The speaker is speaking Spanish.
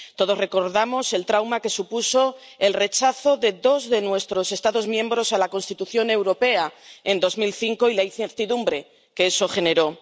Todos recordamos el trauma que supuso el rechazo de dos de nuestros Estados miembros a la Constitución Europea, en 2005, y la incertidumbre que eso generó.